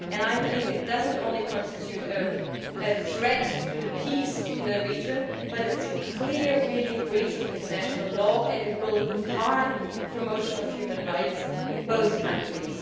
I believe this not only constitutes a threat to the peace in the region but is a really clear breach of international law and will harm the promotion of human rights in both countries.